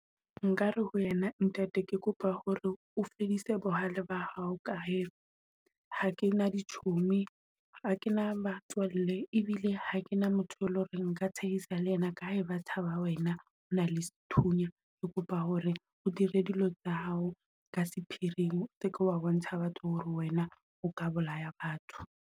Nkare ho yena ntate, ke kopa hore o fedise bohale ba hao ka hee ha ke na dichomi ha ke na batswalle e bile ha ke na motho, e leng hore ka tshehisana le yena ka he ba tshaba wena o na le sethunya. Ke kopa hore o dire dilo tsa hao ka sephiring o seke wa bontsha batho hore wena o ka bolaya batho.